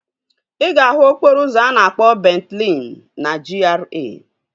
Ị ga-ahụ okporo ụzọ a na-akpọ Bent Leen na GRA